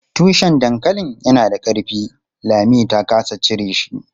Tushen dankalin yana da ƙarfi, Lami ta ƙasa cire shi.